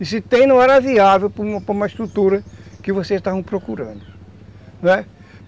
E se tem, não era viável para para uma estrutura que vocês estavam procurando.